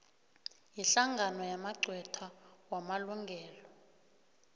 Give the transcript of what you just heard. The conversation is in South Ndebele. yihlangano yamagqwetha wamalungelo